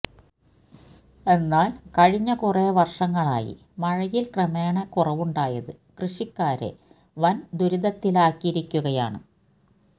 എന്നാല് കഴിഞ്ഞ കുറേ വര്ഷങ്ങളായി മഴയില് ക്രമേണ കുറവുണ്ടായത് കൃഷഷിക്കാരെ വന് ദുരിതത്തിലാക്കിയിരിക്കുകയാണ്